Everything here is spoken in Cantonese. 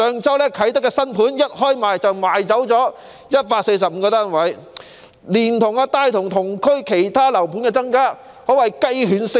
位於啟德的新樓盤上周一開售便售出145個單位，連帶同區其他樓盤提價，可謂雞犬升天。